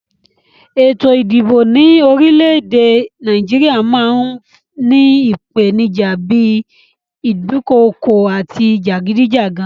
Ètò ìdìbò ní orílẹ èdè Naíjiria máa n ni ìpènijà bi ìdukokò àti jàgídíjàgan